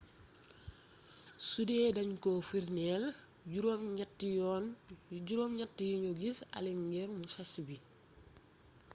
sudee dañ ko firndeel juróom ñatti yuñu gisee allen ngir musashi bi